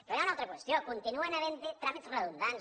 però hi ha una altra qüestió continuen havent hi tràmits redundants